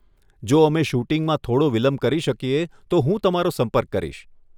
જો અમે શૂટિંગમાં થોડો વિલંબ કરી શકીએ તો હું તમારો સંપર્ક કરીશ.